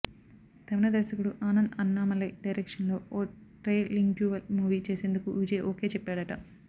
తమిళ దర్శకుడు ఆనంద్ అన్నామలై డైరెక్షన్లో ఓ ట్రై లింగ్యువల్ మూవీ చేసేందుకు విజయ్ ఓకె చెప్పాడట